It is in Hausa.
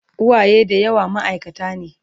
uwaye da yawa maaikata ne